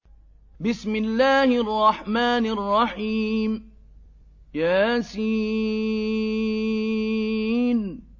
يس